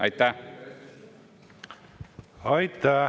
Aitäh!